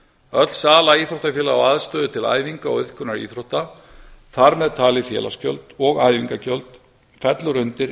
öll sama íþróttafélaga á aðstöðu til æfinga og iðkunar íþrótta þar með talið félagsgjöld og æfingagjöld fellur undir